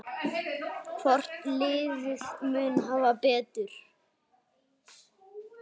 Hvort liðið mun hafa betur?